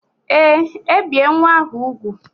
Ee, ebie nwa ahụ úgwù